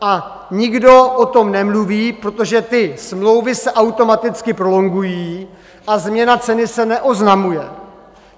A nikdo o tom nemluví, protože ty smlouvy se automaticky prolongují a změna ceny se neoznamuje.